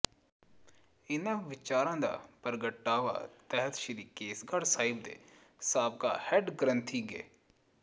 ਇਨ੍ਹਾਂ ਵਿਚਾਰਾਂ ਦਾ ਪ੍ਰਗਟਾਵਾ ਤਖਤ ਸ਼੍ਰੀ ਕੇਸਗੜ੍ਹ ਸਾਹਿਬ ਦੇ ਸਾਬਕਾ ਹੈਡ ਗ੍ਰੰਥੀ ਗਿ